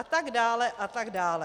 A tak dále, a tak dále.